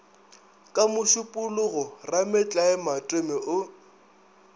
ka mošupologo rametlae matome o